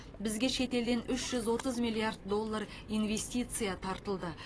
бізге шет елден үш жүз отыз миллиард доллар инвестиция тартылды